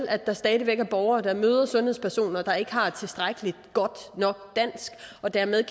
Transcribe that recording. at der stadig væk er borgere der møder sundhedspersoner der ikke har et tilstrækkelig godt dansk og dermed